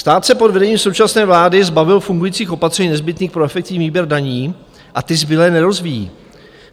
Stát se pod vedením současné vlády zbavil fungujících opatření nezbytných pro efektivní výběr daní, a ty zbylé nerozvíjí.